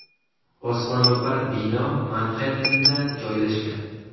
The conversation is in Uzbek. Osmono‘par bino Manxettenda joylashgan.